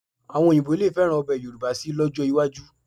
Àwọn Òyìnbó lè fẹ́ràn ọbẹ̀ Yorùbá síi lọ́jọ́ iwájú